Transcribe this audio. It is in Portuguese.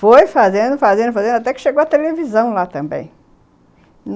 Foi fazendo, fazendo, fazendo, até que chegou a televisão lá também.